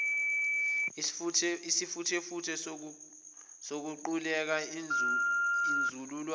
isifuthefuthe sokuquleka inzululwane